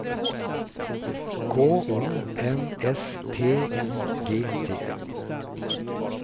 K O N S T I G T